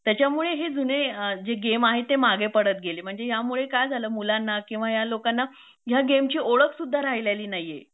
त्याच्यामुळे हे जुने जे जुने गेम आहेत ते मागे पडत गेले म्हणजे यामुळं काय झालं मुलांना किंवा ह्या लोकांना ह्या गेमची ओळख सुद्धा राहिलेली नाहीए